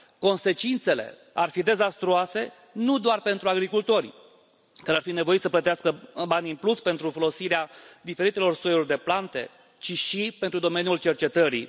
Consecințele ar fi dezastruoase, nu doar pentru agricultori, care ar fi nevoiți să plătească bani în plus pentru folosirea diferitelor soiuri de plante, ci și pentru domeniul cercetării.